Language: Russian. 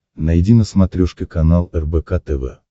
найди на смотрешке канал рбк тв